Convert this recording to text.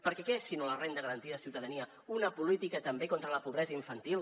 perquè què és si no la renda garantida de ciutadania una política també contra la pobresa infantil